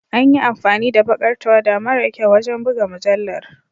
An yi amfani da baƙar tawada mara kyau wajen buga mujallar.